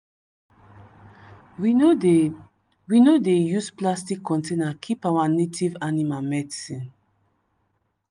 we no dey we no dey use plastic container keep our native animal medicine.